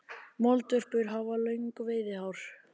Moldvörpur hafa löng veiðihár.